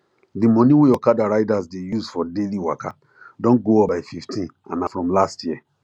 the money wey okada riders dey use for daily waka don go up by 15 and na from last year